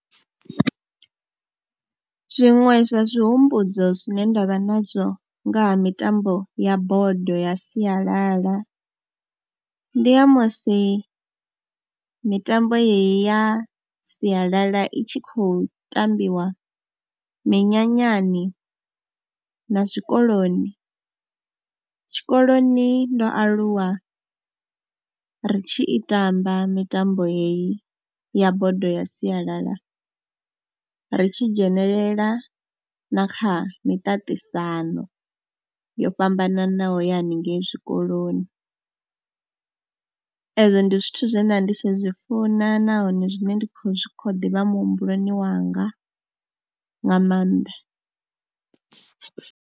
Zwiṅwe zwa zwihumbudzo zwine nda vha nazwo nga ha mitambo ya bodo ya sialala ndi ya musi mitambo yeneyi ya sialala i tshi khou tambiwa minyanyani na zwikoloni. Tshikoloni ndo aluwa ri tshi i tamba mitambo heyi ya bodo ya sialala, ri tshi dzhenelela na kha miṱaṱisano yo fhambananaho ya hanengei zwikoloni. Ezwo ndi zwithu zwe nda ndi tshi zwi funa nahone zwine ndi khou, zwi khou ḓi vha muhumbuloni wanga nga maanḓa.